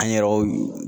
An yɛrɛw